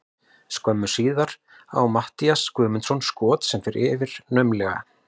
Skömmu síðar á Matthías Guðmundsson skot sem fer naumlega yfir.